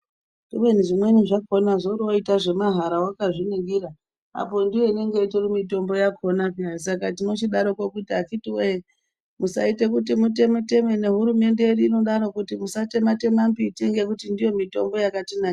Kubeni zvimweni zvakono zvori woita zvemahara wakazvi ningira apo ndiyo inenge itori mitombo yakona peya saka tinochidaro akiti we musaite kuti muteme teme ne hurumende yedu inodaro kuti musa teme teme mbiti ngekuti ndiyo mitombo yakatinakira.